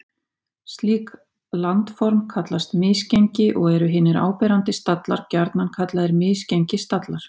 Slík landform kallast misgengi og eru hinir áberandi stallar gjarnan kallaðir misgengisstallar.